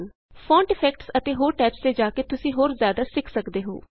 font effects ਅਤੇ ਹੋਰ tabs ਤੇ ਜਾ ਕੇ ਤੁਸੀਂ ਹੋਰ ਜ਼ਿਆਦਾ ਸਿੱਖ ਸਕਦੇ ਹੋ